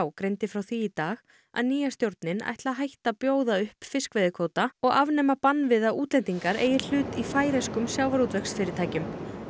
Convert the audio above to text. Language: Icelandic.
greindi frá því í dag að nýja stjórnin ætli að hætta að bjóða upp fiskveiðikvóta og afnema bann við að útlendingar eigi hlut í færeyskum sjávarútvegsfyrirtækjum